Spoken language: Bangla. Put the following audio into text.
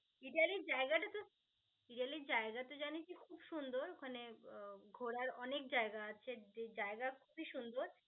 ইতালি জায়গাটা তো ইতালি জায়গাটা তো জানিসই খুব সুন্দর মানে উম ঘোরার অনেক জায়গা আছে. যে জায়গা অনেক সুন্দর